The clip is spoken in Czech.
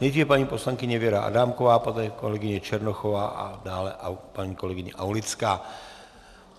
Nejdříve paní poslankyně Věra Adámková, poté kolegyně Černochová a dále paní kolegyně Aulická.